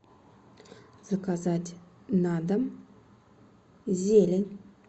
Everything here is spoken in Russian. заказать на дом зелень